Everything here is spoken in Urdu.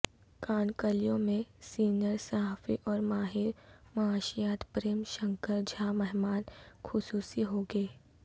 کانکلیو میں سینئر صحافی او ر ماہر معاشیات پریم شنکر جھا مہمان خصوصی ہوں گے